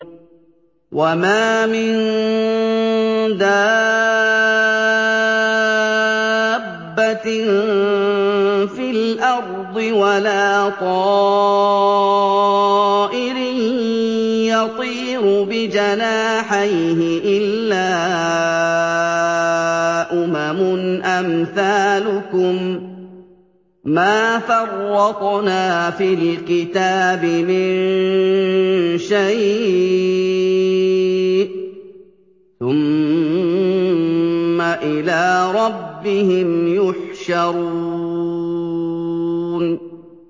وَمَا مِن دَابَّةٍ فِي الْأَرْضِ وَلَا طَائِرٍ يَطِيرُ بِجَنَاحَيْهِ إِلَّا أُمَمٌ أَمْثَالُكُم ۚ مَّا فَرَّطْنَا فِي الْكِتَابِ مِن شَيْءٍ ۚ ثُمَّ إِلَىٰ رَبِّهِمْ يُحْشَرُونَ